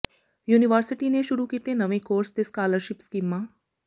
university ਨੇ ਸ਼ੁਰੂ ਕੀਤੇ ਨਵੇਂ ਕੋਰਸ ਤੇ ਸਕਾਲਰਸ਼ਿਪ ਸਕੀਮਾਂ